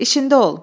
İçində ol.